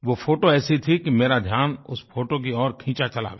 वो फोटो ऐसी थी कि मेरा ध्यान उस फोटो की ओर खींचा चला गया